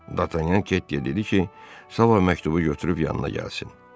Dartanyan Kettiyə dedi ki, sabah məktubu götürüb yanına gəlsin.